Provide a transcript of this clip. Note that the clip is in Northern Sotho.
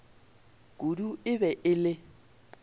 kudu e be e le